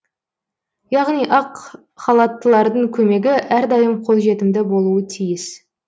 яғни ақ халаттылардың көмегі әрдайым қойжетімді болуы тиіс